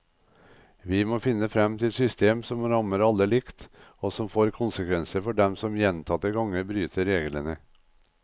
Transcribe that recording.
Vi må finne frem til et system som rammer alle likt, og som får konsekvenser for dem som gjentatte ganger bryter reglene.